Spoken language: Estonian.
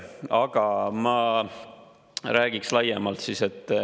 Aga ma räägiks laiemalt.